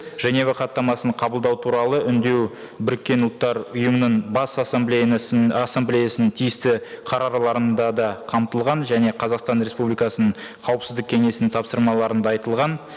женева хаттамасын қабылдау туралы үндеу біріккен ұлттар ұйымының бас ассамблеясының тиісті да қамтылған және қазақстан республикасының қауіпсіздік кеңесінің тапсырмаларында айтылған